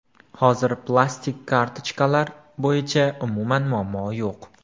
Hozir plastik kartochkalar bo‘yicha umuman muammo yo‘q.